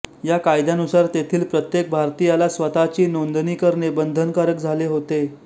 या कायद्यानुसार तेथील प्रत्येक भारतीयाला स्वतःची नोंदणी करणे बंधनकारक झाले होते